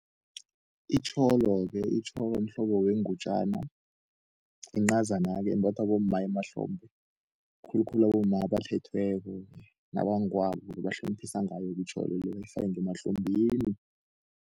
Itjholo-ke, itjholo mhlobo wengutjana encazana-ke imbathwa bomma emahlombhe, khulukhulu abomma abathethweko nabangwabo bahloliphisa ngayo itjholo le, bayifake ngemahlombeni.